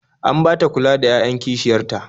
An ba ta kula da 'ya'yan kishiyar ta